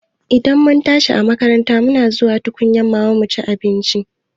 Idan mun tashi a makaranta muna zuwa tukunyan mama cin abinci